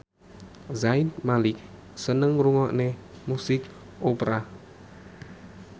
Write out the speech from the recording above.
Zayn Malik seneng ngrungokne musik opera